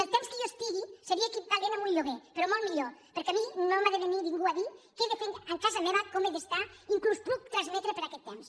el temps que jo hi estigui seria equivalent a un lloguer però molt millor perquè a mi no m’ha de venir ningú a dir què he de fer a casa meva com he d’estar inclús puc transmetre per aquest temps